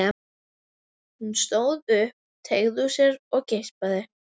Hún stóð upp, teygði úr sér og geispaði.